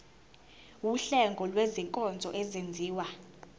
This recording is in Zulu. wuhlengo lwezinkonzo ezenziwa